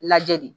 Lajɛ de